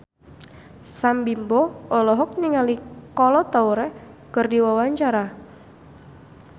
Sam Bimbo olohok ningali Kolo Taure keur diwawancara